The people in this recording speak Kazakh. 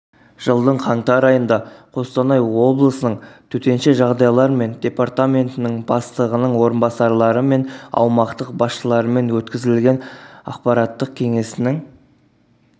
жылдың қаңтар айында қостанай облысының төтенше жағдайлар департаментінің батығының орынбасарлары мен аумақтық басшыларымен өткізілген аппараттық кеңесінің